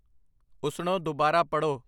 ਉੱਸਣੋ ਦੁਬਾਰਾ ਪੜ੍ਹੋ